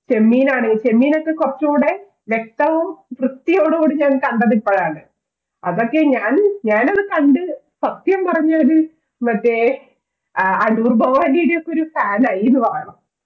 ചെമ്മീൻ ആണെങ്കിലും ചെമ്മീൻ ഒക്കെ കുറച്ചുകൂടെ വ്യക്തവും കൃത്യവോടും കൂടി കണ്ടത് ഞാൻ ഇപ്പോഴാണ് അതൊക്കെ ഞാൻ മറ്റേ അടൂർ ഭവാനിയുടെ ഒക്കെ ഒരു ഫാൻ ആയെന്ന് പറയണം